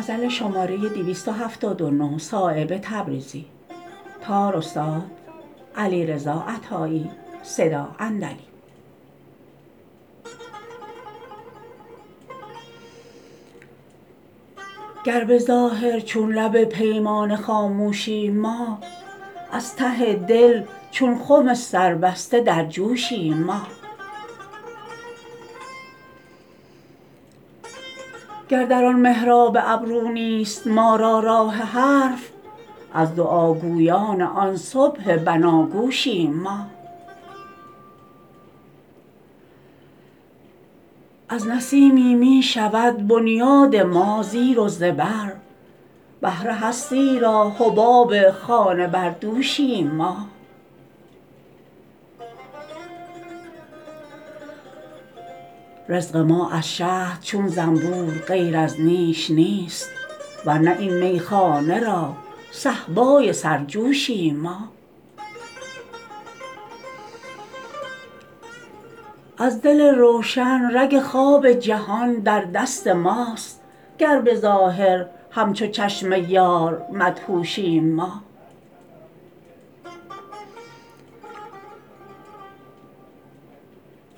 گر به ظاهر چون لب پیمانه خاموشیم ما از ته دل چون خم سربسته در جوشیم ما گر در آن محراب ابرو نیست ما را راه حرف از دعاگویان آن صبح بناگوشیم ما از نسیمی می شود بنیاد ما زیر و زبر بحر هستی را حباب خانه بر دوشیم ما رزق ما از شهد چون زنبور غیر از نیش نیست ورنه این میخانه را صهبای سرجوشیم ما از دل روشن رگ خواب جهان در دست ماست گر به ظاهر همچو چشم یار مدهوشیم ما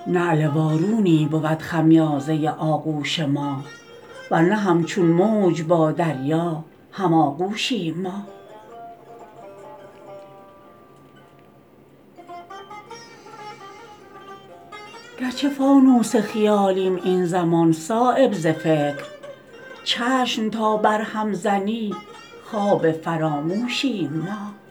نعل وارونی بود خمیازه آغوش ما ورنه همچون موج با دریا هم آغوشیم ما گرچه فانوس خیالیم این زمان صایب ز فکر چشم تا بر هم زنی خواب فراموشیم ما